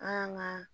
An y'an ka